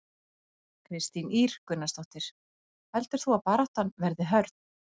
Kristín Ýr Gunnarsdóttir: Heldur þú að baráttan verði hörð?